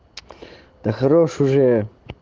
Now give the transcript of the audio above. да хорош уже